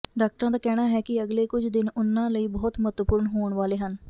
ਡਾਕਟਰਾਂ ਦਾ ਕਹਿਣਾ ਹੈ ਕਿ ਅਗਲੇ ਕੁਝ ਦਿਨ ਉਨ੍ਹਾਂ ਲਈ ਬਹੁਤ ਮਹੱਤਵਪੂਰਨ ਹੋਣ ਵਾਲੇ ਹਨ